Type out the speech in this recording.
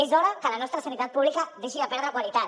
és hora que la nostra sanitat pública deixi de perdre qualitat